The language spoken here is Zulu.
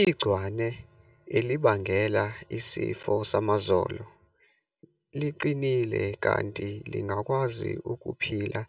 Igcwane elibangela isifo samazolo liqinile kanti lingakwazi ukuphila